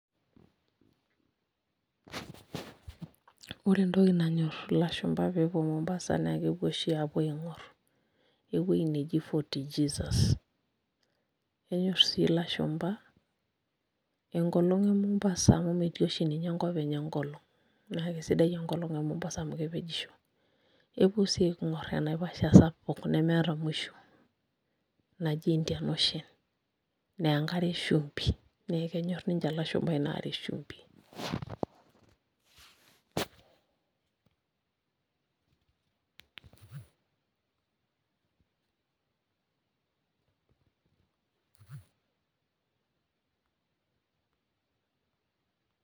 Ore entoki nanyorr ilashumba pee epuo Mombasa naa kepuo oshi aing'orr ewueji neji FortJesus enyorr sii ilashumba enkolong' e Mombasa amu metii oshi ninye enkop enye enkolong' naa kesidai enkolong' e Mombasa amu kepejisho, epuo sii aaing'orr enaiposha sapuk nemeeta musho naji Indian Ocean naa enkare eshumbi naa kenyorr ninche ilashumba ina are eshumbi.